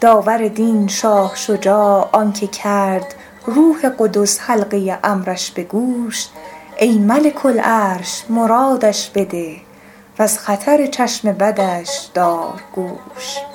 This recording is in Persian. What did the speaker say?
داور دین شاه شجاع آن که کرد روح قدس حلقه امرش به گوش ای ملک العرش مرادش بده و از خطر چشم بدش دار گوش